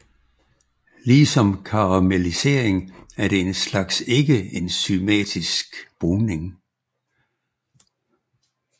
Lige som karamellisering er det en slags ikkeenzymatisk bruning